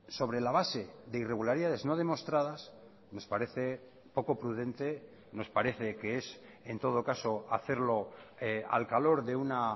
sobre la base de irregularidades no demostradas nos parece poco prudente nos parece que es en todo caso hacerlo al calor de una